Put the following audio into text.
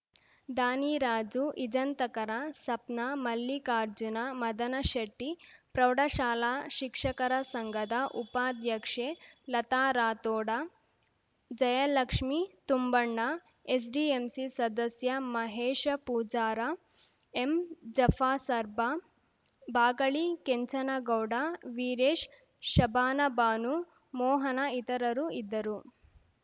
ದಾನಿ ರಾಜು ಇಜಂತಕರ ಸಪ್ನ ಮಲ್ಲಿಕಾರ್ಜುನ ಮದನಶೆಟ್ಟಿ ಪ್ರೌಢಶಾಲಾ ಶಿಕ್ಷಕರ ಸಂಘದ ಉಪಾಧ್ಯಕ್ಷೆ ಲತಾ ರಾಥೋಡ ಜಯಲಕ್ಷ್ಮೀ ತುಂಬಣ್ಣ ಎಸ್‌ಡಿಎಂಸಿ ಸದಸ್ಯ ಮಹೇಶ ಪೂಜಾರ ಎಂ ಜಫಾಸರ್ಬಾ ಬಾಗಳಿ ಕೆಂಚನಗೌಡ ವೀರೇಶ್‌ ಶಬಾನಬಾನು ಮೋಹನ ಇತರರು ಇದ್ದರು